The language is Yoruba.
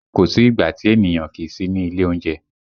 Kò sí ìgbà tí ènìyàn kìí sí ní ilé oúnjẹ